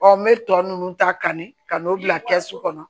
n bɛ tɔ nunnu ta kanni ka n'o bila kɛsu kɔnɔ